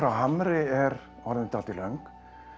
Hamri er orðin dálítið löng